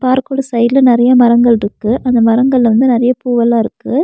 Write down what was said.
பார்க்கோட சைடுல நறைய மரங்கள்ருக்கு அந்த மரங்கள்ள வந்து நறைய பூ எல்லாம் இருக்கு.